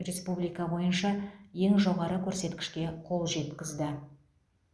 республика бойынша ең жоғары көрсеткішке қол жеткізді